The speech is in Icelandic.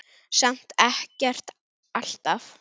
Samt ekkert alltaf.